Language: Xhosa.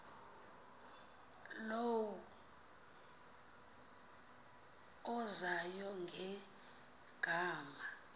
low uzayo ngegama